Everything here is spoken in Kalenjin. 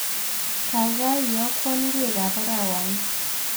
Gaigai iiyookwaan ng'weekab araaawanii